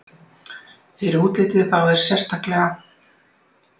Fyrir útiliðið þá sérstaklega?